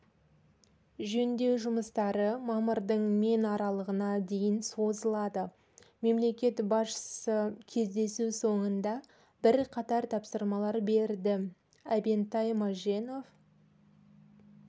жөндеу жұмыстары мамырдың мен аралығына дейін созылады мемлекет басшысы кездесу соңында бірқатар тапсырма берді әбентай мәженов